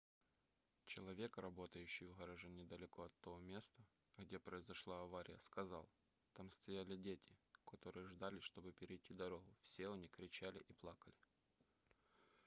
человек работающий в гараже недалеко от того места где произошла авария сказал там стояли дети которые ждали чтобы перейти дорогу все они кричали и плакали